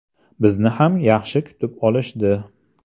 Bizni ham yaxshi kutib olishdi.